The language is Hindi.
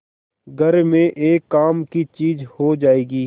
घर में एक काम की चीज हो जाएगी